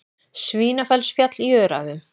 Svínafellsfjall í Öræfum.